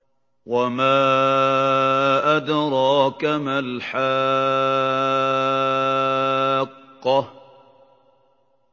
وَمَا أَدْرَاكَ مَا الْحَاقَّةُ